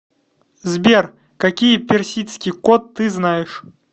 сбер какие персидский кот ты знаешь